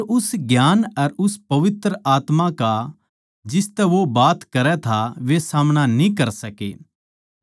पर उस ज्ञान अर उस पवित्र आत्मा का जिसतै वो बात करै था वे सामणा न्ही कर सके